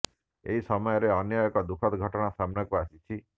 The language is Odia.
ଏହି ସମୟରେ ଅନ୍ୟ ଏକ ଦୁଃଖଦ ଘଟଣା ସମ୍ନାକୁ ଆସିଛି